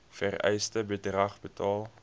vereiste bedrag betaal